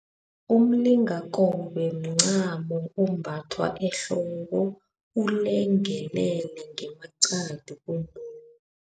Umlingakobe mncamo ombathwa ehloko ulengelele ngemaqadi